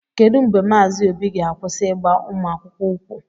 Kedu mgbe Mazi obi ga-akwụsị ịgba ụmụ akwụkwọ ukwu?